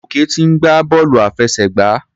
Gòkè ti ń gbá bọ́ọ̀lù àfẹsẹ̀gbá.